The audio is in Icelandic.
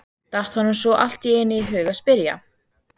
datt honum svo allt í einu í hug að spyrja.